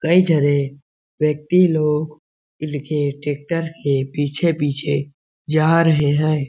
कई झने व्यक्ति लोग लिखे ट्रेक्टर के पीछे-पीछे जा रहें है।